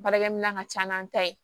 Baarakɛminɛn ka ca n'an ta ye